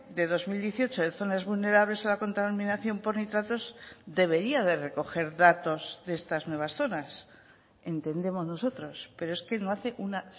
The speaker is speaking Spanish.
de dos mil dieciocho de zonas vulnerables a la contaminación por nitratos debería de recoger datos de estas nuevas zonas entendemos nosotros pero es que no hace una